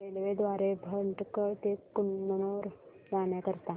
railway द्वारे भटकळ ते कन्नूर जाण्या करीता